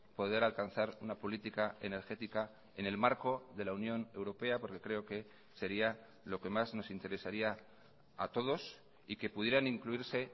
poder alcanzar una política energética en el marco de la unión europea porque creo que sería lo que más nos interesaría a todos y que pudieran incluirse